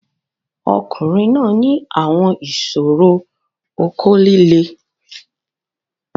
Ọkunrin naa ni awọn iṣoro oko lile